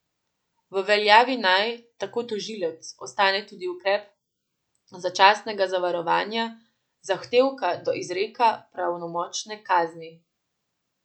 V veljavi naj, tako tožilec, ostane tudi ukrep začasnega zavarovanja zahtevka do izreka pravnomočne kazni.